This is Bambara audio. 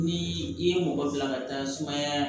Ni i ye mɔgɔ bila ka taa sumaya